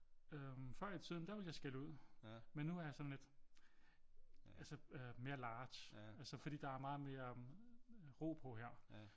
Øh før i tiden der ville jeg skælde ud men nu er jeg sådan lidt altså mere large altså fordi der er meget mere ro på her